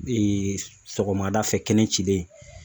sɔgɔmada fɛ kɛnɛ cilen